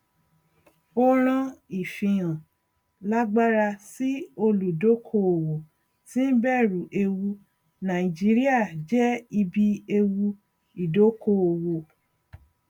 ó rán ìfihàn lágbara sí olùdókóòwò tí ń bẹrù ewu nàìjíríà jẹ ibi ewu ìdókóòwò